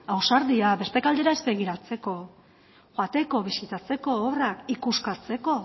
ausardia beste aldera ez begiratzeko joateko bisitatzeko obrak ikuskatzeko